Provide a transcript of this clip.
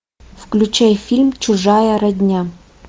включай фильм чужая родня